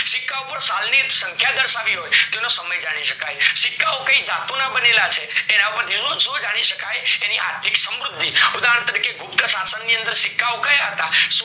સિક્કા ઉપર સાલ ની સંખ્યા ધર્શાવી હોય તો તો એનો સમય જાની શકાય, સિક્કાઓ કઈ ધાતુના બનેલા છે એની પરથી આર્થીક સમૃધી, ઉદાહરણ તરકે ગુપ્ત શાશન ની અંદર સિક્કાઓ કયા હતા સો